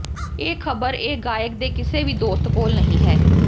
ਇਹ ਖਬਰ ਇਹ ਗਾਇਕ ਦੇ ਕਿਸੇ ਵੀ ਦੋਸਤ ਕੋਲ ਨਹੀਂ ਹੈ